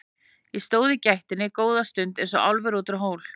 Ég stóð í gættinni góða stund eins og álfur út úr hól.